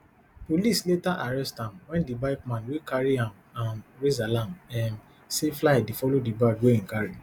police later arrest am wen di bike man wey carry am um raise alarm um say fly dey follow di bag wey im carry